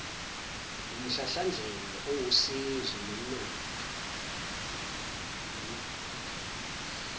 wumhlahlandlela owusizo nomthombo